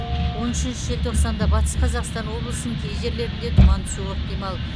он үшінші желтоқсанда батыс қазақстан облысының кей жерлерінде тұман түсуі ықтимал